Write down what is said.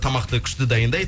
тамақты күшті дайындайды